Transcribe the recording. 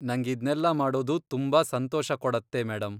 ನಂಗಿದ್ನೆಲ್ಲ ಮಾಡೋದು ತುಂಬಾ ಸಂತೋಷ ಕೊಡತ್ತೆ ಮೇಡಂ.